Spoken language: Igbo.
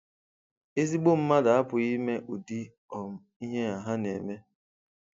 Ezigbo mmadụ apụghị ime ụdị um ihe ha na-eme.